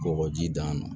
Kɔgɔji d'a ma